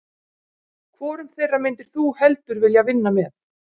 Hvorum þeirra myndir þú heldur vilja vinna með?